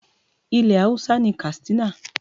Ilẹ̀ Hausa ni Katsina.